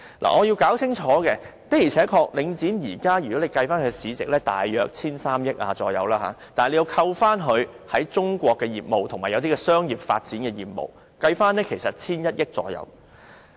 我必須清楚指出，的而且確，領展現時的市值大約為 1,300 億元，但扣除它在中國的業務和一些商業發展的業務，其實約為 1,100 億元。